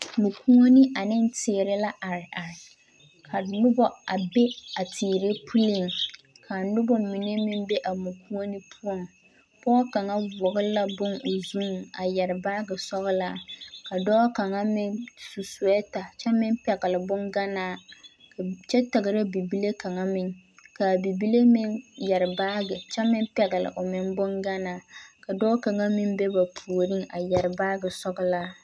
Mɔkuoni ane teere la areare ka noba a be a teere puleeŋ ka noba mine meŋ be a mɔkuoni poɔ pɔɡe kaŋa vɔɔle la bone o zuiŋ kyɛ mare baaɡe sɔɡelaa dɔɔ kaŋ meŋ su suɛɛta kyɛ pɛɡele baaɡe kyɛ taɡera bibile kaŋ meŋ ka a bibile meŋ yɛre baaɡe kyɛ meŋ pɛɡele bonɡanaa ka dɔɔ kaŋ meŋ be ba puoriŋ a yɛre baaɡe sɔɡelaa.